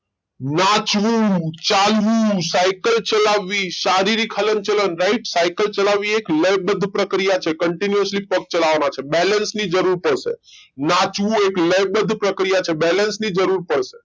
નાચવું, ચાલવું, સાયકલ ચલાવવી, શારીરિક હલનચલન રાઈટ સિકલ ચલાવવી એ લયબધ્ધ પ્રક્રિયા છે continually પગ ચલાવવા ના છે balance ની જરૂર પડશે નાચવું એ લયબધ્ધ પ્રક્રિયા છે balance ની જરૂર પડશે